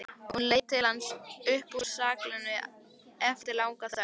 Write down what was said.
Hún leit til hans upp úr skálinni eftir langa þögn.